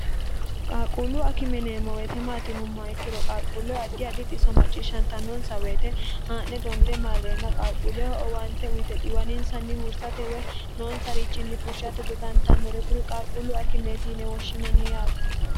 qaaqquullu akime yineemmo weyite maati yinummoh ikkiro qaaqquulleho addi adixiso macciishshanta nonsa woyite haa'ne donde marreenna qaaquulleho owante uyite xiiwaninsanni huursate woy noonsarichinni fushshate dodantannore kuri qaaqquullu akimeeti yine woshshinanni yaate